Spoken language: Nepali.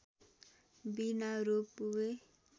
बिना रोपवे